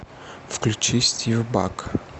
включи стив баг